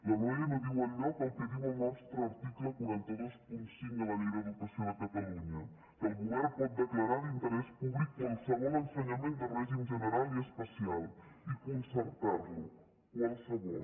la loe no diu enlloc el que diu el nostre article quatre cents i vint cinc de la llei d’educació de catalunya que el govern pot declarar d’interès públic qualsevol ensenyament de règim general i especial i concertarlo qualsevol